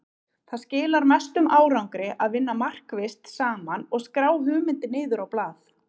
Það skilar mestum árangri að vinna markvisst saman og skrá hugmyndir niður á blað.